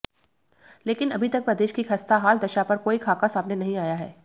लेकिन अभी तक प्रदेश की खस्ता हाल दशा पर कोई खाका सामने नहीं आया है